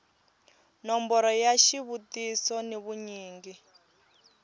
nomboro ya xivutiso ni vunyingi